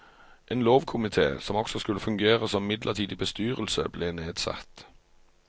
En lovkomite, som også skulle fungere som midlertidig bestyrelse, ble nedsatt.